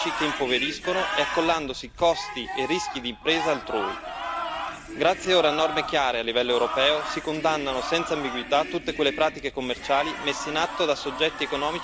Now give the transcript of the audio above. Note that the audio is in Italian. Grazie ora a norme chiare a livello europeo si condannano senza ambiguità tutte quelle pratiche commerciali messe in atto da soggetti economici senza scrupoli che finiscono per stritolare gli agricoltori piccoli e onesti.